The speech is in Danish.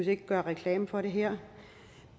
ikke at gøre reklame for den her